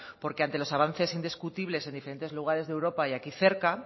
porque ante los avances indiscutibles en diferentes lugares de europa y aquí cerca